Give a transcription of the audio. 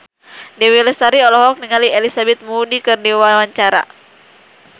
Dewi Lestari olohok ningali Elizabeth Moody keur diwawancara